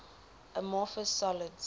amorphous solids